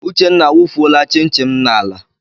Uchenna awufuola chin chin m n'ala.